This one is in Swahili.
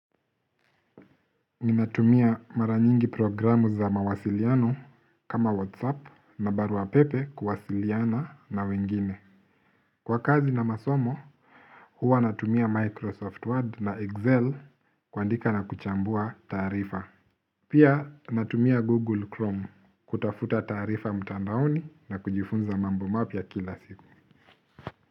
Ninatumia mara nyingi programu za mawasiliano kama Whatsapp na barua pepe kuwasiliana na wengine. Kwa kazi na masomo, huwa natumia Microsoft Word na Excel kuandika na kuchambua taarifa. Pia natumia Google Chrome kutafuta taarifa mtandaoni na kujifunza mambo mapya kila siku.